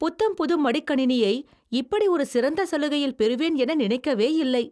புத்தம் புது மடிக்கணினியை இப்படி ஒரு சிறந்த சலுகையில் பெறுவேன் என நினைக்கவேயில்லை.